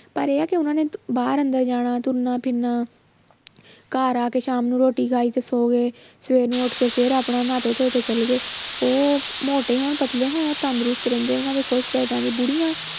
ਪਰ ਇਹ ਆ ਕਿ ਉਹਨਾਂ ਨੇ ਬਾਹਰ ਅੰਦਰ ਜਾਣਾ ਤੁਰਨਾ ਫਿਰਨਾ ਘਰ ਆ ਕੇ ਸ਼ਾਮ ਨੂੰ ਰੋਟੀ ਖਾਈ ਤੇ ਸੌਂ ਗਏ ਸਵੇਰ ਨੂੰ ਉੱਠ ਕੇ ਫਿਰ ਆਪਣਾ ਨਹਾਤੇ ਧੋਤੇ ਚਲੇ ਗਏ ਉਹ ਮੋਟੇ ਹੋਣ ਪਤਲੇ ਹੋਣ ਤੰਦਰੁਸਤ ਰਹਿੰਦੇ ਆ ਉਹਨਾਂ ਦੇ ਕੁਛ ਬੁੜੀਆਂ